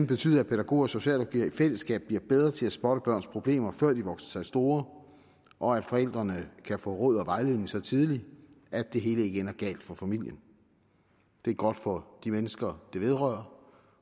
betyde at pædagoger og socialrådgivere i fællesskab bliver bedre til at spotte børns problemer før de vokser sig store og at forældrene kan få råd og vejledning så tidligt at det hele ikke ender galt for familien det er godt for de mennesker der vedrører